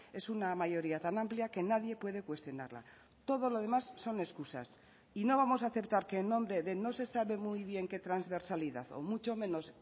es una mayoría tan amplia que nadie puede cuestionarla todo lo demás son excusas y no vamos a aceptar que en nombre de no se sabe muy bien qué transversalidad o mucho menos